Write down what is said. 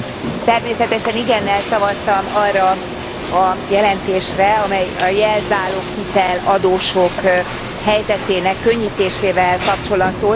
Természetesen igennel szavaztam arra a jelentésre, amely a jelzáloghitel adósok helyzetének könnyítésével kapcsolatos.